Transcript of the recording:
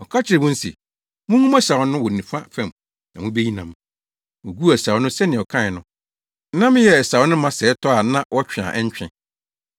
Ɔka kyerɛɛ wɔn se, “Mungu mo asau no wɔ nifa fam na mubeyi nam.” Woguu asau no sɛnea ɔkae no. Nam yɛɛ asau no ma sɛɛ tɔ a na wɔtwe a ɛntwe.